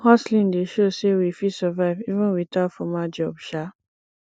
hustling dey show sey we fit survive even without formal job um